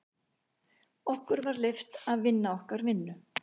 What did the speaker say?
Okkur var leyft að vinna okkar vinnu.